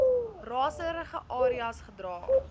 raserige areas gedra